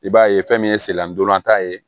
I b'a ye fɛn min ye selantolan ta ye